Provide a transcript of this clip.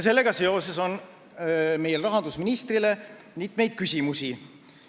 Sellega seoses on meil rahandusministrile mitmeid küsimusi.